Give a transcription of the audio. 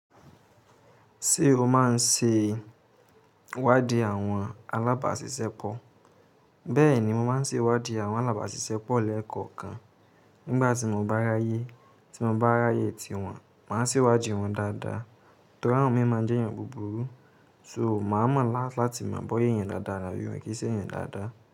Ṣé o máa n ṣe ìwádìí àwọn alábàáṣiṣẹ́ pọ̀? Bẹ́ẹ̀ni, mo máa n ṣe ìwádìí àwọn alábàáṣiṣẹ́ pọ̀ lẹ́ẹ̀kọ̀kan. Nígbà tí mo bá ráyé, tí mo bá ráyé tiwọn, màá sì wádìí wọn dáadáa. Torí àwọn mìíràn jẹ́ èèyàn búburú, so màá mọ̀ láti mọ̀ bóyé èèyàn dáadáa ni àbí mo n kí sí èèyàn dáadáa.